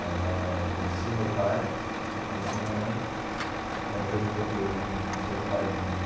Ela conhecia o meu pai e conhecia a minha mãe e apresentou os dois num numa espécie de bailinho.